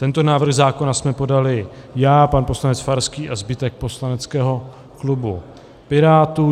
Tento návrh zákona jsme podali já, pan poslanec Farský a zbytek poslaneckého klubu Pirátů.